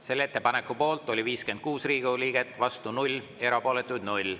Selle ettepaneku poolt oli 56 Riigikogu liiget, vastu 0, erapooletuid 0.